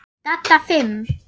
Dadda fimm.